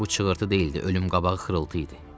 Lakin bu çığırtı deyildi, ölüm qabağı xırıltı idi.